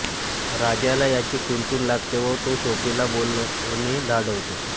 राजाला याची कुणकुण लागते व तो सोफीला बोलणे धाडवतो